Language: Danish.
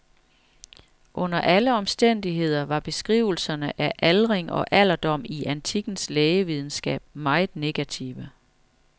Under alle omstændigheder var beskrivelserne af aldring og alderdom i antikkens lægevidenskab meget negative.